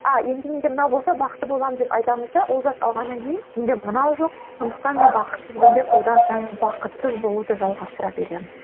а енді менде мынау болса бақытты боламын деп айтамыз да ол зат алғаннан кейін менде мынау жоқ сондықтан мен бақытсызбын деп одан сайын бақытсыз болуды жалғастыра береміз